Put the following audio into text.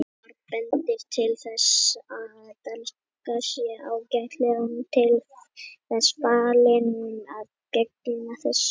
Margt bendir til þess að danskan sé ágætlega til þess fallin að gegna þessu lykilhlutverki.